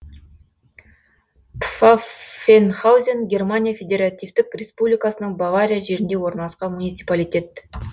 пфаффенхаузен германия федеративтік республикасының бавария жерінде орналасқан муниципалитет